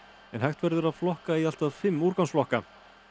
hægt verður að flokka í allt að fimm úrgangsflokka